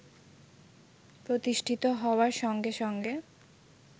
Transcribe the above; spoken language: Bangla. প্রতিষ্ঠিত হওয়ার সঙ্গে সঙ্গে